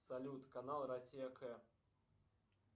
салют канал россия к